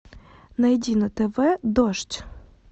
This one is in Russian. найди на тв дождь